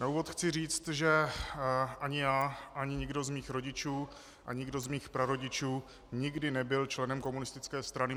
Na úvod chci říct, že ani já ani nikdo z mých rodičů ani nikdo z mých prarodičů nikdy nebyl členem komunistické strany.